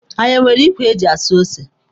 Anyị nwere ikwe eji asụ ose?